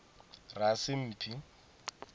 rasimphi